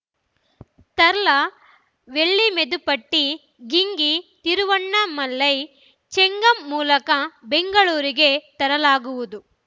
ತಲ್ಲಾರ್‌ ವೆಲ್ಲಿಮೆದುಪೆಟ್ಟಿ ಗಿಂಗೀತಿರುವಣ್ಣಾ ಮಲೈ ಚೆಂಗಮ್‌ ಮೂಲಕ ಬೆಂಗಳೂರಿಗೆ ತರಲಾಗುವುದು